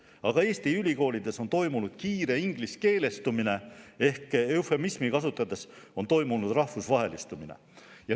Aga Eesti ülikoolides on toimunud kiire ingliskeelestumine ehk eufemismi kasutades on toimunud rahvusvahelistumine.